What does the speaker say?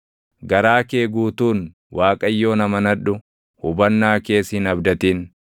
Garaa kee guutuun Waaqayyoon amanadhu; hubannaa kees hin abdatin;